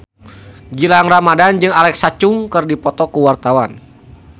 Gilang Ramadan jeung Alexa Chung keur dipoto ku wartawan